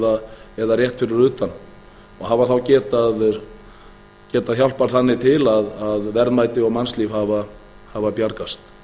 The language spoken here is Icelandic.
innsiglingum rétt fyrir utan og hafa þá getað hjálpað þannig til að verðmæti og mannslíf hafa bjargast